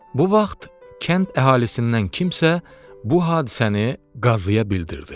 Bu vaxt kənd əhalisindən kimsə bu hadisəni qazıya bildirdi.